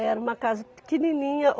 Era uma casa pequenininha.